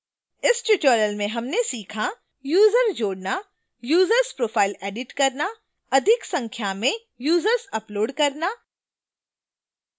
इस tutorial में हमने सीखा